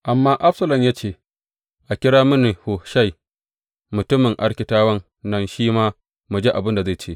Amma Absalom ya ce, A kira mini Hushai mutumin Arkitawan nan shi ma, mu ji abin da zai ce.